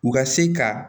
U ka se ka